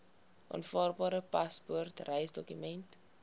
aanvaarbare paspoort reisdokument